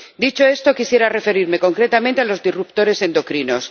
Dicho esto, quisiera referirme concretamente a los disruptores endocrinos.